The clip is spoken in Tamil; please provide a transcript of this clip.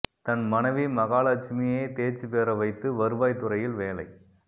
தன் மனைவி மகாலட்சுமியை தேர்ச்சிப் பெற வைத்து வருவாய் துறையில் வேலை